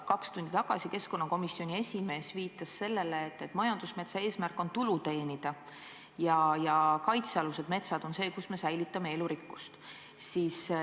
Kaks tundi tagasi keskkonnakomisjoni esimees viitas sellele, et majandusmetsa eesmärk on tulu teenida ja kaitsealused metsad on need, kus me säilitame elurikkust.